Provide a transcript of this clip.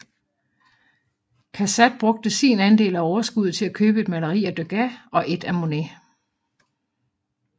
Cassatt brugte sin andel af overskuddet til at købe et maleri af Degas og et af Monet